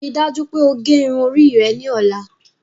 Ríì dájú pé o gé irun orí rẹ̀ ni ọla!